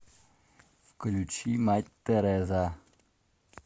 включи мать тереза